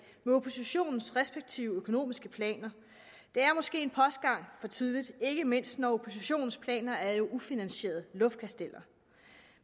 oppositionens respektive økonomiske planer det er måske en postgang for tidligt ikke mindst når oppositionens planer er ufinansierede luftkasteller